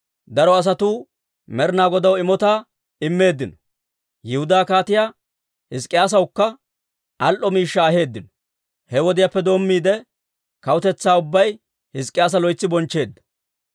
Daro asatuu Med'inaa Godaw imotaa immeeddino; Yihudaa Kaatiyaa Hizk'k'iyaasawukka al"o miishshaa aheeddino. He wodiyaappe doommiide, kawutetsaa ubbay Hizk'k'iyaasa loytsi bonchcheedda.